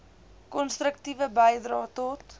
konstruktiewe bydrae tot